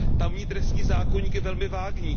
Tamní trestní zákoník je velmi vágní.